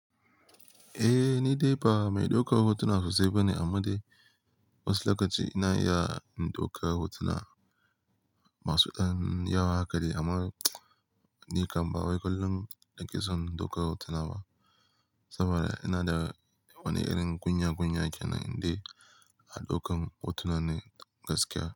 Eh, ni dai ba mai daukar hotuna sosai ba ne, amma dai wasu lokaci ina iya in dauka hotuna masu ɗan yawa haka dai. Amman. Ni kam ba wai kullum nake son in dauka hotuna ba saboda ina da wani irin kunya-kunya ke nan dai a ɗaukan hotuna ne gaskiya.